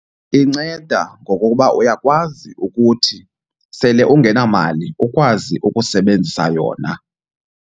Inceda ngokokuba uyakwazi ukuthi sele ungenamali ukwazi ukusebenzisa yona.